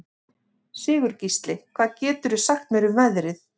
Sigurgísli, hvað geturðu sagt mér um veðrið?